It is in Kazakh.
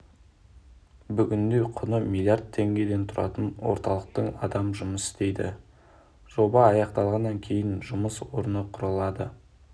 бүгінде құны миллиард теңге тұратын орталықта адам жұмыс істейді жоба аяқталғаннан кейін жуық жұмыс орны құрылады